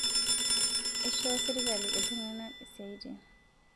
Eishoo sirkali ltung'ana siatin